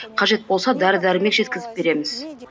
қажет болса дәрі дәрмек жеткізіп береміз